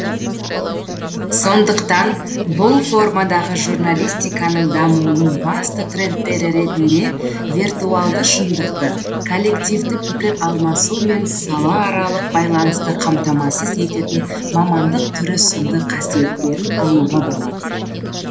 сондықтан бұл формадағы журналистиканың дамуының басты трендтері ретінде виртуалды шындықты коллективті пікір алмасу мен салааралық байланысты қамтамасыз ететін мамандық түрі сынды қасиеттерін алуға болады